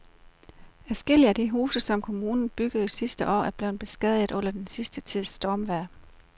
Adskillige af de huse, som kommunen byggede sidste år, er blevet beskadiget under den sidste tids stormvejr.